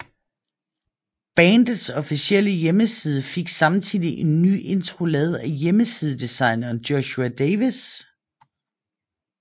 Bandets officielle hjemmeside fik samtidig en ny intro lavet af hjemmesidedesigneren Joshua Davis